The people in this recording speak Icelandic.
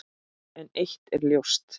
En eitt er ljóst.